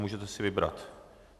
Můžete si vybrat.